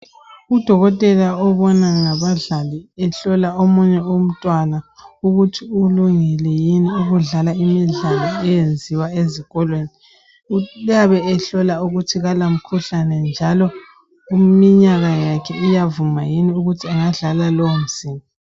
Udokotela obona ngabadlali, ehlola omunye umntwana ukuthi ulungile yini ukudlala imidlalo eyenziwa ezikolweni. Uyabe ehlola ukuthi kalamkhuhlane, njalo iminyaka yakhe iyavuma yini ukuthi angadlala lowomdlalo.